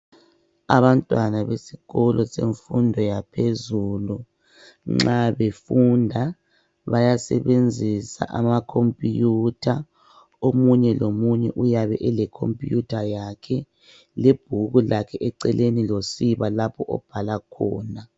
Abantwana besikolo semfundo yaphezulu nxa befunda bayasebenzisa ama computer. Omunye lomunye uyabe ele computer yakhe lebhuku lakhe eceleni losiba lapho ababhala khona.